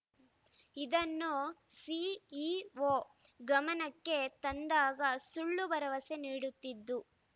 ಇದನ್ನು ಸಿಇಒ ಗಮನಕ್ಕೆ ತಂದಾಗ ಸುಳ್ಳು ಭರವಸೆ ನೀಡುತ್ತಿದ್ದು